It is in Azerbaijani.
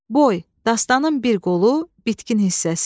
Boy, dastanın bir qolu, bitkin hissəsi.